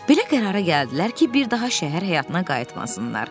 Belə qərara gəldilər ki, bir daha şəhər həyatına qayıtmasınlar.